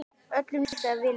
Öllum líkaði vel við hana.